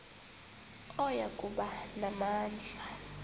oya kuba namandla